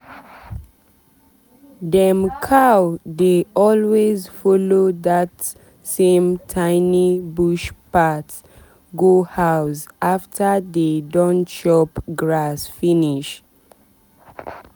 dem cow dey always follow that same tiny bush path go house after dey don chop grass finish.